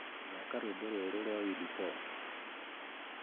thaka rwĩmbo rwerũ rwa willy paul